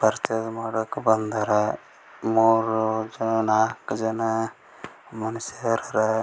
Purchase ಮಾಡಕ್ ಬಂದರ್ ಮೂರು ಜನ ನಾಕ್ ಜನ ಮನಶರ ಹರಾ .